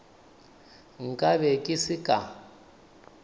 nka be ke se ka